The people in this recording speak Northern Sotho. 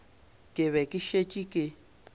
ke be ke šetše ke